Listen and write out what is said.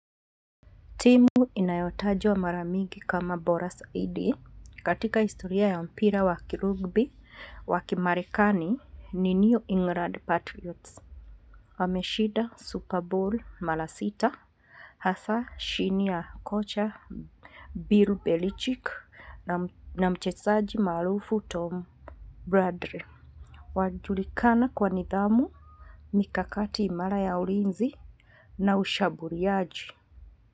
Timu inayotajwa maramigi kama Boras A.D. Katika historia ya mpira waki rugby, waki marekani ni New England Patriots. Wameshida Super Bowl mala sita, hasa shini ya kocha Bill Belichick na mchesaji maarufu Tom Bradley. Wajulikana kwa nidhamu, mikakati imara ya ulinzi na ushaburiaji.